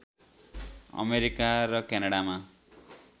America र क्यानाडामा